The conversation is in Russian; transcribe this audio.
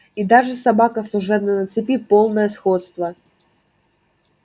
и даже собака служебная на цепи полное сходство